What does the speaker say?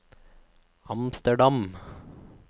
Amsterdam